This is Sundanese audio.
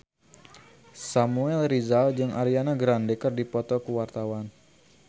Samuel Rizal jeung Ariana Grande keur dipoto ku wartawan